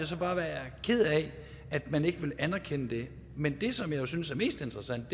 så bare være ked af at man ikke vil anerkende det men det som jeg jo synes er mest interessant